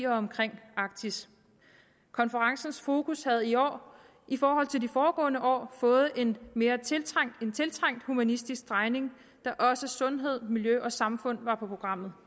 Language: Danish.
omkring arktis konferencens fokus havde i år i forhold til de foregående år fået en tiltrængt humanistisk drejning da også sundhed miljø og samfund var på programmet